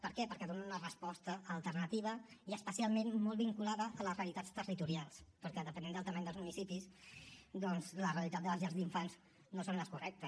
per què perquè donen una resposta alternativa i especialment molt vinculada a les realitats territorials perquè depenent de la mida dels municipis doncs la realitat de les llars d’infants no són les correctes